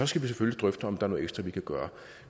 skal vi selvfølgelig drøfte om der er noget ekstra vi kan gøre